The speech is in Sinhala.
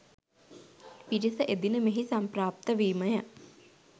පිරිස එදින මෙහි සම්ප්‍රාප්ත වීම ය.